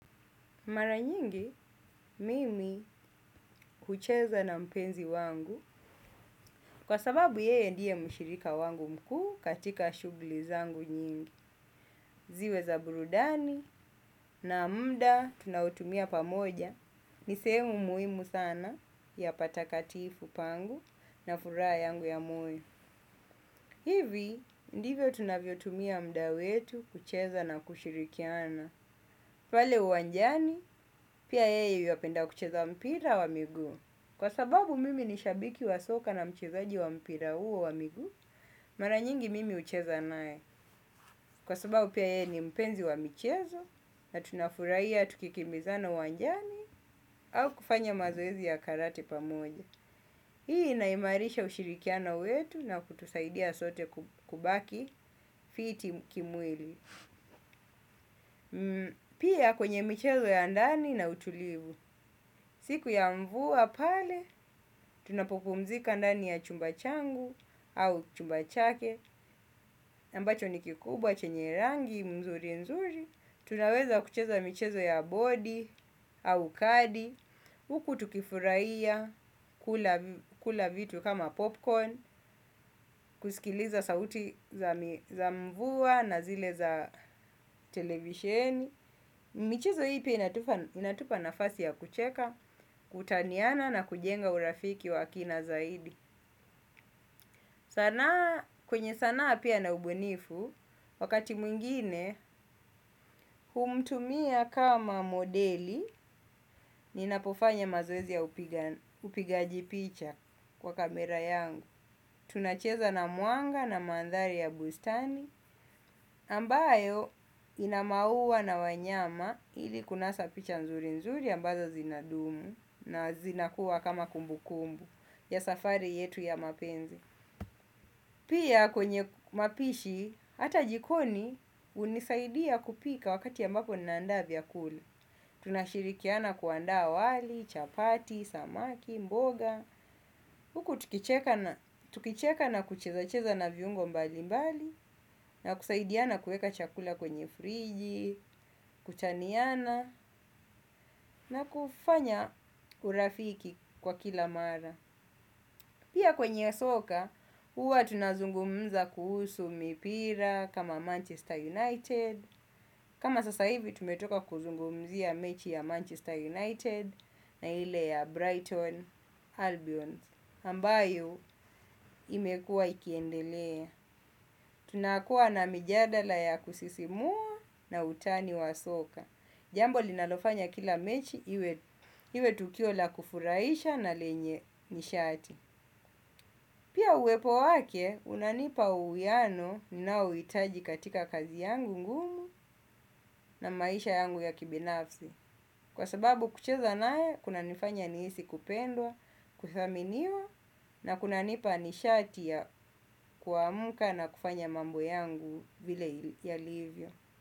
Mara nyingi, mimi hucheza na mpenzi wangu kwa sababu yeye ndiye mshirika wangu mkuu katika shughuli zangu nyingi. Ziwe za burudani na muda tunaotumia pamoja, ni sehemu muhimu sana ya patakatifu pangu na furaha yangu ya moyo. Hivi ndivyo tunavyotumia muda wetu kucheza na kushirikiana pale uwanjani, pia yeye yuapenda kucheza mpira wa miguu. Kwa sababu mimi ni shabiki wa soka na mchezaji wa mpira huo wa miguu mara nyingi mimi hucheza naye. Kwa sababu pia yeye ni mpenzi wa michezo na tunafurahia tukikimbizana uwanjani au kufanya mazoezi ya karate pamoja. Hii inahimarisha ushirikiana wetu na kutusaidia sote kubaki fiti kimwili. Pia kwenye michezo ya ndani na utulivu. Siku ya mvua pale, tunapopumzika ndani ya chumba changu au chumba chake ambacho ni kikubwa, chenye rangi, mzuri mzuri. Tunaweza kucheza michezo ya bodi au kadi huku tukifurahia, kula vitu kama popcorn. Kusikiliza sauti za mvua na zile za televisheni michezo hii pia inatupa nafasi ya kucheka kutaniana na kujenga urafiki wa kina zaidi, sanaa kwenye sanaa pia na ubunifu. Wakati mwingine humtumia kama modeli. Ninapofanya mazoezi ya upigaji picha kwa kamera yangu. Tunacheza na mwanga na mandhari ya bustani ambayo ina maua na wanyama ili kunasa picha nzuri nzuri ambazo zinadumu na zinakuwa kama kumbu kumbu ya safari yetu ya mapenzi. Pia kwenye mapishi hata jikoni hunisaidia kupika wakati ambapo ninaanda vyakula. Tunashirikiana kuandaa wali chapati, samaki, mboga huku tukicheka na kuchezacheza na viungo mbali mbali na kusaidiana kuweka chakula kwenye friji. Kutaniana na kufanya urafiki kwa kila mara. Pia kwenye soka huwa tunazungumza kuhusu mipira kama Manchester United. Kama sasa hivi tumetoka kuzungumzia mechi ya Manchester United na ile ya Brighton Albions Ambayo imekua ikiendelea. Tunakuwa na mijadala ya kusisimua na utani wa soka. Jambo linalofanya kila mechi iwe tukio la kufurahisha na lenye nishati. Pia uwepo wake, unanipa uwiano ninaohitaji katika kazi yangu ngumu na maisha yangu ya kibinafsi. Kwa sababu kucheza naye, kunanifanya nihisi kupendwa, kudhaminiwa na kunanipa nishati ya kuamka na kufanya mambo yangu vile yalivyo.